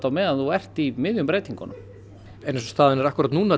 á meðan þú ert í miðjum breytingum en eins og staðan er akkúrat núna